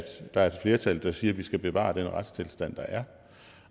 der er et flertal der siger at vi skal bevare den retstilstand der er